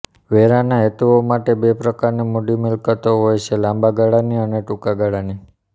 વેરાના હેતુઓ માટે બે પ્રકારની મૂડી મિલકતો હોય છેઃ લાંબા ગાળાની અને ટૂંકા ગાળાની